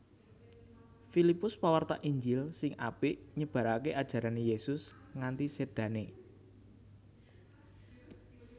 Filipus pawarta Injil sing apik nyebaraké ajarané Yésus nganti sédané